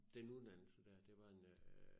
Den uddannelse dér det var en øh